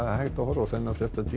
hægt að horfa á þennan fréttatíma